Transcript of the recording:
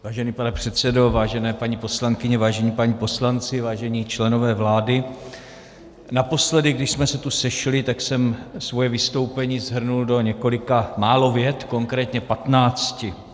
Vážený pane předsedo, vážené paní poslankyně, vážení páni poslanci, vážení členové vlády, naposledy, když jsme se tu sešli, tak jsem svoje vystoupení shrnul do několika málo vět, konkrétně patnácti.